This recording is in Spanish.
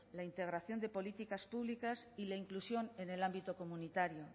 la integración de políticas públicas y la inclusión en el ámbito comunitario